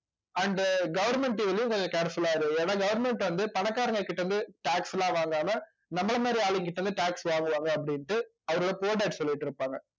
and government கொஞ்சம் careful ஆ இரு ஏன்னா government வந்து பணக்காரங்ககிட்ட இருந்து tax ல வாங்காம நம்மளை மாதிரி ஆளுங்ககிட்ட இருந்து tax வாங்குவாங்க அப்படின்ட்டு சொல்லிட்டிருப்பாங்க